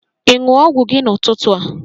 Ị ṅụ ọgwụ gị n'ụtụtụ a?